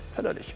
Hələlik.